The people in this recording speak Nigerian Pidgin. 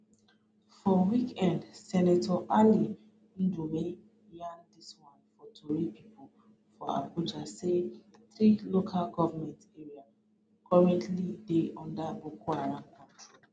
for weekend senator ali ndume yarn dis one for tori pipo for abuja say three local goment areas currently dey under boko haram control